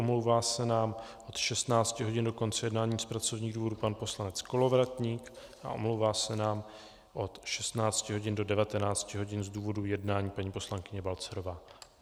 Omlouvá se nám od 16 hodin do konce jednání z pracovních důvodů pan poslanec Kolovratník a omlouvá se nám od 16 hodin do 19 hodin z důvodu jednání paní poslankyně Balcarová.